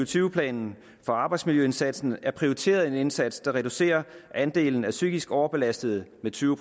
tyve planen for arbejdsmiljøindsatsen er prioriteret en indsats der reducerer andelen af psykisk overbelastede med tyve